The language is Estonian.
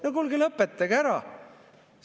No kuulge, lõpetage ära!